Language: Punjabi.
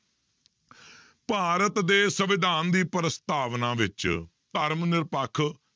ਭਾਰਤ ਦੇ ਸਵਿਧਾਨ ਦੀ ਪ੍ਰਸਤਾਵਨਾ ਵਿੱਚ ਧਰਮ ਨਿਰਪੱਖ